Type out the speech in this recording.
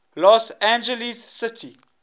los angeles city